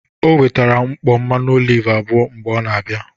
Ọ wetara nkpọ mmanụ ọlive abụọ mgbe ọ n' abịa.